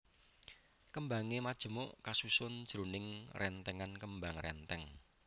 Kembangé majemuk kasusun jroning rèntèngan kembang rèntèng